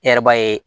E yɛrɛ b'a ye